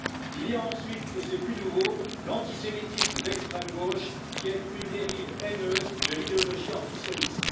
Il y a ensuite, et c'est plus nouveau, l'antisémitisme d'extrême gauche, qui est une dérive haineuse de l'idéologie antisioniste.